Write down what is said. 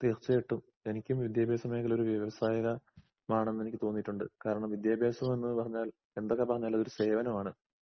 തീർച്ചയായിട്ടും. എനിക്കും വിദ്യാഭാസമേഖലഒരു വ്യാവസായക മാണെന്നെനിക്കുതോന്നീട്ടുണ്ട്. കാരണം വിദ്യാഭാസമെന്ന്പറഞ്ഞാൽ എന്തൊക്കെപറഞ്ഞാലും ഒരു സേവനമാണ്.